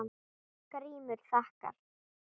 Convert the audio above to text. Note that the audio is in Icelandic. GRÍMUR: Þakka.